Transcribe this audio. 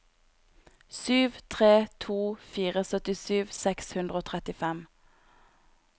sju tre to fire syttisju seks hundre og trettifem